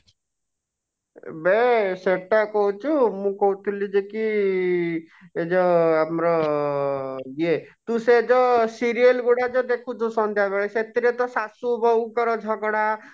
ବେ ସେଟା କହୁଛୁ ମୁଁ କହୁଥିଲି ଯେ କି ଏ ଯଉ ଆମର ଇଏ ତୁ ସେ ଯୋ serial ଗୁଡା ଯଉ ଦେଖୁଛୁ ସନ୍ଧ୍ୟା ବେଳେ ସେଥିରେ ତ ସାସୁ ବହୁ ଙ୍କ ର ଝଗଡା